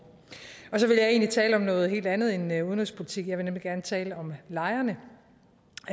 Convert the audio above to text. så vil jeg egentlig tale om noget helt andet end udenrigspolitik jeg vil nemlig gerne tale om lejerne